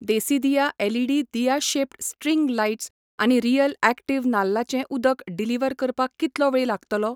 देसीदिया LED दिया shaped string lights आनी real active नाल्लाचें उदक डिलिव्हर करपाक कितलो वेळ लागतलो ?